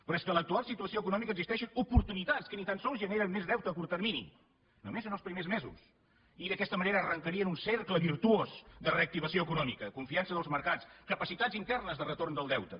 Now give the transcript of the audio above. però és que en l’actual situació econòmica existeixen oportunitats que ni tan sols generen més deute a curt termini només en els primers mesos i d’aquesta manera arrencarien un cercle virtuós de reactivació econòmica confiança dels mercats capacitats internes de retorn del deute